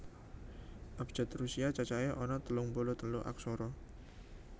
Abjad Rusia cacahé ana telung puluh telu aksara